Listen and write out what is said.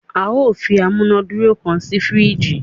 a yóò fí amunaduro kán sí firiji